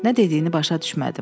Nə dediyini başa düşmədim.